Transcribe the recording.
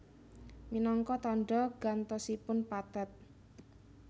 Minangka tandha gantosipun pathet